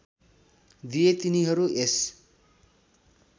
दिए तिनीहरू यस